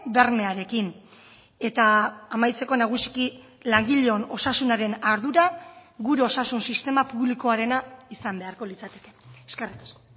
bermearekin eta amaitzeko nagusiki langileon osasunaren ardura gure osasun sistema publikoarena izan beharko litzateke eskerrik asko